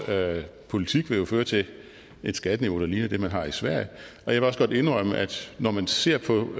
politik vil jo føre til et skatteniveau der ligner det man har i sverige og jeg vil også godt indrømme at når man ser på